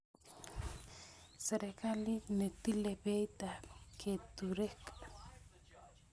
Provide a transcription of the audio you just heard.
serekalit ne tile beit ab keturek